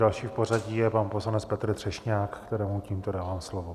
Další v pořadí je pan poslanec Petr Třešňák, kterému tímto dávám slovo.